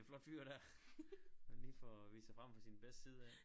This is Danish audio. Flot fyr dér han lige får vist sig frem fra sin bedste side af